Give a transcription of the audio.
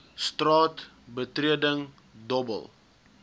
straat betreding dobbel